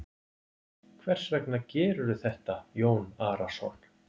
Hvers vegna gerirðu þetta Jón Arason?